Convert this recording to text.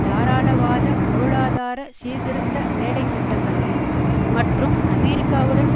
தாராளவாத பொருளாதார சீர்திருத்த வேலைத்திட்டங்களையும் மற்றும் அமெரிக்காவுடன்